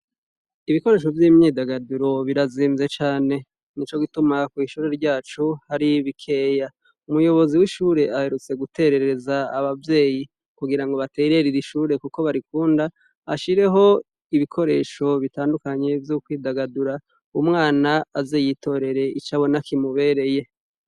Ibikoresho vy'imyidagaduro birazimvye cane ni co gituma kw'ishure ryacu haribikeya umuyobozi w'ishure aherutse guterereza abavyeyi kugira ngo batererira ishure, kuko barikunda ashireho ibikoresho bitandukanye vyoukwidagadura umwana azi yitorere icabona kimubereye.